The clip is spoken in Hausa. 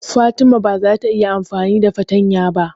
Fatima ba za ta iya amfani da fatanya ba.